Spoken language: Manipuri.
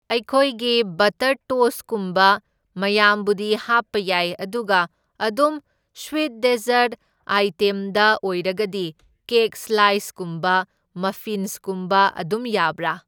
ꯑꯩꯈꯣꯏꯒꯤ ꯕꯇꯔ ꯇꯣꯁꯀꯨꯝꯕ ꯃꯌꯥꯝꯕꯨꯗꯤ ꯍꯥꯞꯄ ꯌꯥꯏ ꯑꯗꯨꯒ ꯑꯗꯨꯝ ꯁ꯭ꯋꯤꯠ ꯗꯦꯖꯔꯠ ꯑꯥꯏꯇꯦꯝꯗ ꯑꯣꯏꯔꯒꯗꯤ ꯀꯦꯛ ꯁ꯭ꯂꯥꯏꯁ ꯀꯨꯝꯕ ꯃꯐꯤꯟꯁꯀꯨꯝꯕ ꯑꯗꯨꯝ ꯌꯥꯕ꯭ꯔꯥ?